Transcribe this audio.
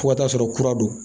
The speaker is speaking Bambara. Fo ka taa sɔrɔ kura don